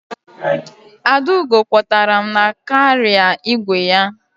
Adaugo kwọtara m na kaarịa igwe ya.